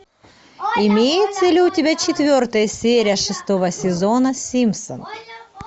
имеется ли у тебя четвертая серия шестого сезона симпсоны